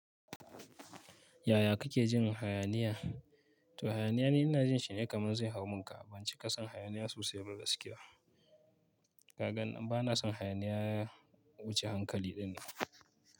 Yaya kake jin hayaniya? To hayaniya ni ina jin shi ne kamar zai hau mun ka, ban ci ƙasan hayaniya sosai ba gaskiya. Kagan bana son hayaniya wuce hankali dinnan.